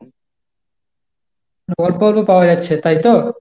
অল্প অল্প পাওয়া যাচ্ছে, তাইতো?